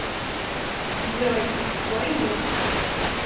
джой твой ник